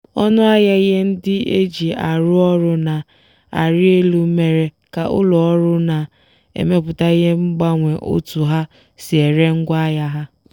ọnụahịa ihe ndị e ji arụ ọrụ na-arị elu mere ka ụlọ ọrụ na-emepụta ihe gbanwee otu ha si ere ngwaahịa ha.